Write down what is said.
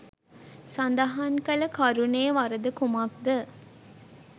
සදහන් කල කරුණේ වරද කුමක්ද?